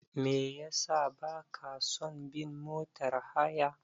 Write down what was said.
Me yasa ba ka son bin motar haya?